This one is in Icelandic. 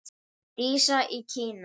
Dísa í Kína.